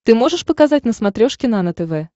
ты можешь показать на смотрешке нано тв